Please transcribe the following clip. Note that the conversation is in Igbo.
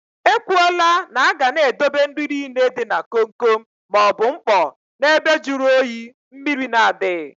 E kwụọ là na aga n'edobe nri nile dị na kom kom maọbụ mkpọ na ebe jụrụ oyi, mmrir na adịghị